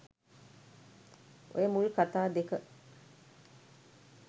ඔය මුල් කතා දෙක